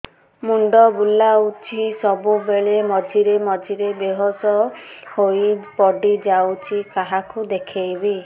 ମୁଣ୍ଡ ବୁଲାଉଛି ସବୁବେଳେ ମଝିରେ ମଝିରେ ବେହୋସ ହେଇ ପଡିଯାଉଛି କାହାକୁ ଦେଖେଇବି